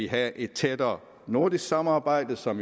have et tættere nordisk samarbejde som